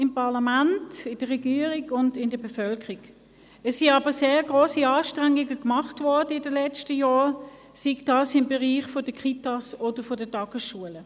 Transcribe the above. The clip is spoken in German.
In den letzten Jahren wurden aber sehr grosse Anstrengungen unternommen, sei dies im Bereich der Kitas oder der Tagesschulen.